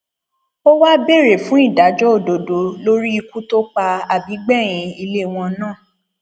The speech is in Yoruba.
ó wàá béèrè fún ìdájọ òdodo lórí ikú tó pa àbígbẹyìn ilé wọn náà